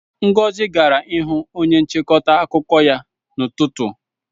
Ngozi gara ịhụ onye nchịkọta akụkọ ya n'ụtụtụ.